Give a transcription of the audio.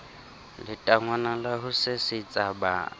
letangwana la ho sesetsa ba